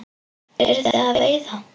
Eruð þið að veiða?